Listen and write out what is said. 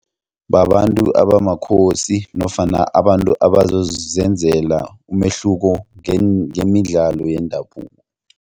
Babantu abamakhosi nofana abantu abazozenzela umehluko ngemidlalo yendabuko.